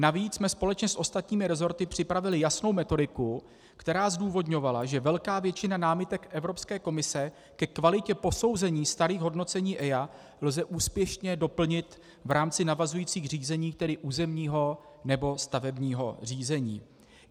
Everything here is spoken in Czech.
Navíc jsme společně s ostatními resorty připravili jasnou metodiku, která zdůvodňovala, že velkou většinu námitek Evropské komise ke kvalitě posouzení starých hodnocení EIA lze úspěšně doplnit v rámci navazujících řízení, tedy územního nebo stavebního řízení.